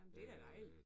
Men det da dejligt